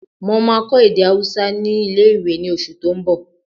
Mo máa kọ́ èdè ahúsá ní ilé-ìwé ní oṣù tó n bọ̀